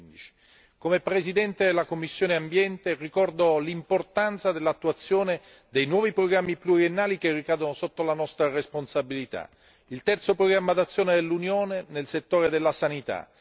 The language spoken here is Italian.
2015. Come presidente della commissione ambiente, ricordo l'importanza dell'attuazione dei nuovi programmi pluriennali che ricadono sotto la nostra responsabilità il terzo programma d'azione dell'Unione nel settore della sanità